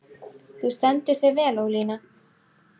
Þú stendur þig vel, Ólína!